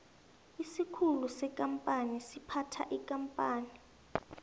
isikhulu sekampani siphatha ikampani